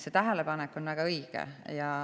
See tähelepanek on väga õige.